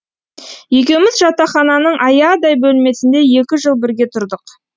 екеуміз жатақхананың аядай бөлмесінде екі жыл бірге тұрдық